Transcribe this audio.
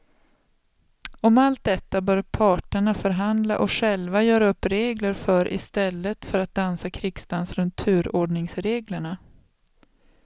Om allt detta bör parterna förhandla och själva göra upp regler för i stället för att dansa krigsdans runt turordningsreglerna.